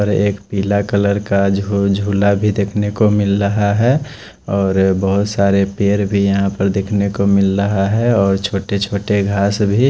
और एक पीला कलर का झो झोला भी देख ने को मिल रहा है और बहत सारे पेड़ भी देख ने को मिल रहा है और छोटे छोटे घास भी--